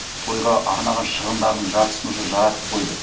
тойға арнаған шығындарының жартысын уже жаратып қойды